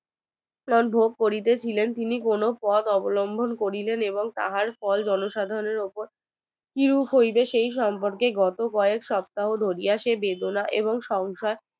ভোগ করিতেছিলেন এবং তিনি কোন পথ অবলম্বন করিতে এবং তাহার ফল জনসাধারণের ওপর কি রূপ হইবে সে সম্পর্কে গত কয়েক সপ্তাহে ধরিয়া সেজন্য এবং সংখ্যাই